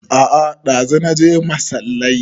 A'a ɗazu naje masallai